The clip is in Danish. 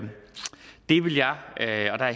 det vil jeg